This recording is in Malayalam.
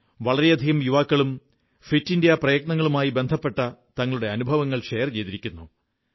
വളരെയധികം യുവാക്കളും ഫിറ്റ് ഇന്ത്യാ പ്രയത്നങ്ങളുമായി ബന്ധപ്പെട്ട തങ്ങളുടെ അനുഭവങ്ങൾ പങ്കുവെച്ചിരിക്കുന്നു